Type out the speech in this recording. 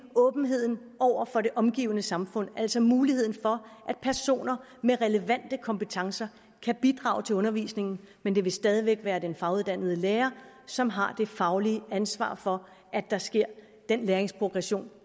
åbenheden over for det omgivende samfund altså muligheden for at personer med relevante kompetencer kan bidrage til undervisningen men det vil stadig væk være den faguddannede lærer som har det faglige ansvar for at der sker den læringsprogression